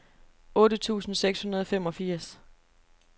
otte tusind seks hundrede og femogfirs